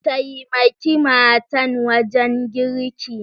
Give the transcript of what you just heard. Taimake matan wajen girki!